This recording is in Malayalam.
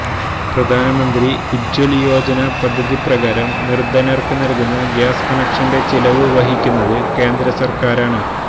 പ്രധാന്മന്ത്രി ഉജ്വല് യോജന പദ്ധതിപ്രകാരം നിര്ധനര്ക്ക് നല്കുന്ന ഗ്യാസ് കണക്ഷന്റെ ചിലവ് വഹിക്കുന്നത് കേന്ദ്രസര്ക്കാരാണ്